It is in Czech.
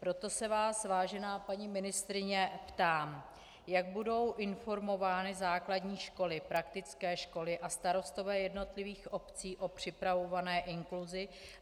Proto se vás, vážená paní ministryně ptám, jak budou informovány základní školy, praktické školy a starostové jednotlivých obcí o připravované inkluzi.